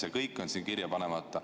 See kõik on siin kirja panemata.